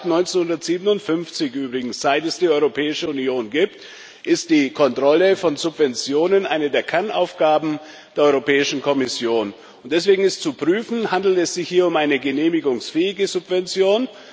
Seit 1957 übrigens, seit es die Europäische Union gibt, ist die Kontrolle von Subventionen eine der Kernaufgaben der Europäischen Kommission, und deswegen ist zu prüfen Handelt es sich hier um eine genehmigungsfähige Subvention?